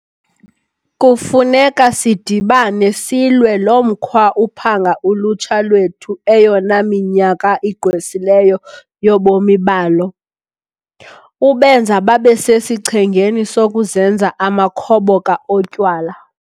Kufuneka sidibane silwe lo mkhwa uphanga ulutsha lwethu eyona minyaka igqwesileyo yobomi balo, ubenza babe sesichengeni sokuzenza amakhoboka otywala.